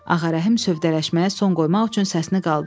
Ağarəhim sövdələşməyə son qoymaq üçün səsini qaldırdı.